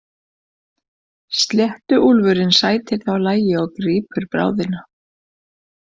Sléttuúlfurinn sætir þá lagi og grípur bráðina.